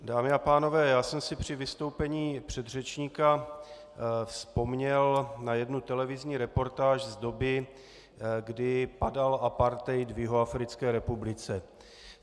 Dámy a pánové, já jsem si při vystoupení předřečníka vzpomněl na jednu televizní reportáž z doby, kdy padal apartheid v Jihoafrické republice.